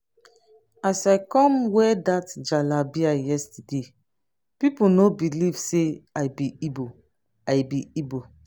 as i come wear that jalabiya yesterday people no believe say i be igbo i be igbo